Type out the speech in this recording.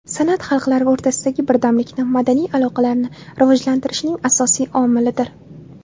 San’at xalqlar o‘rtasidagi birdamlikni, madaniy aloqalarni rivojlantirishning asosiy omilidir.